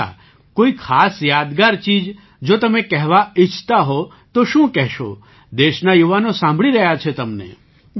અચ્છા કોઈ ખાસ યાદગાર ચીજ જો તમે કહેવા ઈચ્છતા હો તો શું કહેશો દેશના યુવાનો સાંભળી રહ્યા છે તમને